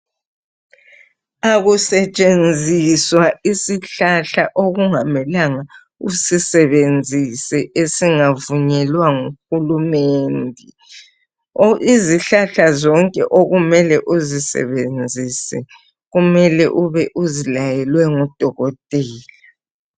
Akusetshenziswa isihlahla okungamelanga usisebenzise esingavunyelwa nguhulumende. Izihlahla zonke okumele uzisebenzise kumele ube uzilayelwe ngudokotela.